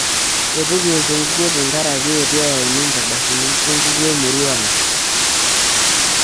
Eitu kiwosh enkukuo tenkaraki eitu eyauini nkardasini enkukuo emurua ang'.